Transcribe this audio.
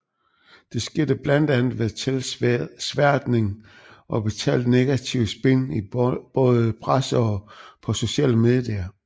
Det skete blandt andet ved tilsværtning og betalt negativt spin i både presse og på sociale medier